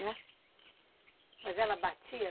Mas ela batia?